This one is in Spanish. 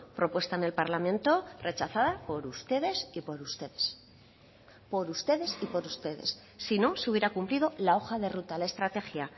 propuesta en el parlamento rechazada por ustedes y por ustedes por ustedes y por ustedes sino se hubiera cumplido la hoja de ruta la estrategia